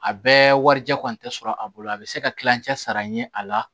A bɛɛ warijɛ kɔni tɛ sɔrɔ a bolo a bɛ se ka kilancɛ sara ɲɛ a la